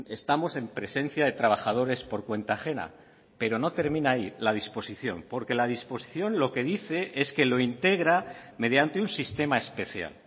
estamos en presencia de trabajadores por cuenta ajena pero no termina ahí la disposición porque la disposición lo que dice es que lo integra mediante un sistema especial